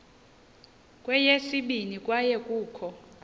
kweyesibini kwaye kukho